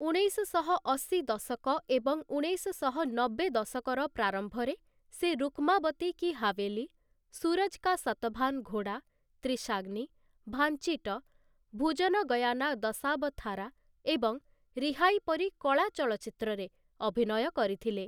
ଉଣେଇଶଶହ ଅଶୀ ଦଶକ ଏବଂ ଉଣେଇଶ ନବେ ଦଶକର ପ୍ରାରମ୍ଭରେ ସେ ରୁକ୍ମାବତୀ କି ହାଭେଲି, ସୁରଜ କା ସତଭାନ ଘୋଡା, ତ୍ରିଶାଗ୍ନି, ଭାଞ୍ଚିଟ, ଭୁଜନଗୟାନା ଦଶାବଥାରା ଏବଂ ରିହାଇ ପରି କଳା ଚଳଚ୍ଚିତ୍ରରେ ଅଭିନୟ କରିଥିଲେ ।